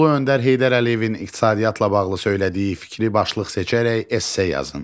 Ulu Öndər Heydər Əliyevin iqtisadiyyatla bağlı söylədiyi fikri başlıq seçərək esse yazın.